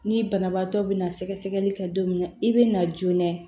Ni banabaatɔ bɛna sɛgɛsɛgɛli kɛ don min na i be na joona